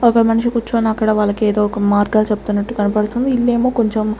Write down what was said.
ఒక మనిషి కూర్చొని అక్కడ వాళ్లకేదో ఒక మార్గాలు చెప్తున్నట్టు కనపడుతుంది ఇల్లేమో కొంచెం.